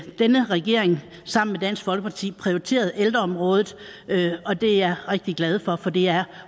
denne regering sammen med dansk folkeparti prioriteret ældreområdet og det er jeg rigtig glad for for det er